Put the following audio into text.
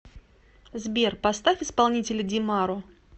сбер поставь исполнителя димаро